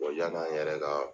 yan'an yɛrɛ ka